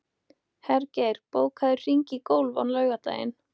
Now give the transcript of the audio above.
Hergeir, bókaðu hring í golf á laugardaginn.